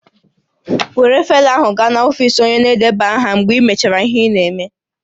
Were faịlụ ahụ gaa n'ọfisi onye na-edeba aha mgbe iji ya me has ihe ị na-eme